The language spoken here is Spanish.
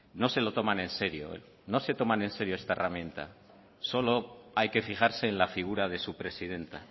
no se lo toman en serio no se toman en serio esta herramienta solo hay que fijarse en la figura de su presidenta